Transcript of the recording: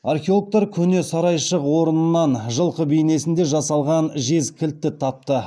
археологтар көне сарайшық орнынан жылқы бейнесінде жасалған жез кілтті тапты